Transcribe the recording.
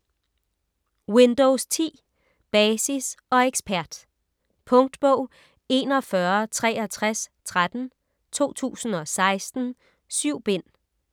Windows 10: Basis og ekspert Punktbog 416313 2016. 7 bind.